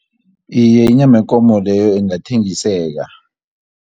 Iye, inyama yekomo leyo ingathengiseka.